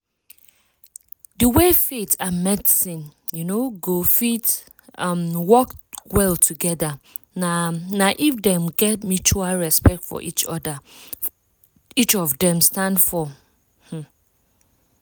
di way faith and medicine um go fit um work well together na na if dem get mutual respect for wetin each of dem stand for. um